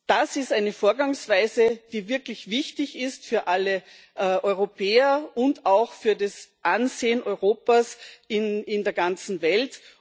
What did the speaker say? Das ist eine Vorgangsweise, die wirklich wichtig ist für alle Europäer und auch für das Ansehen Europas in der ganzen Welt.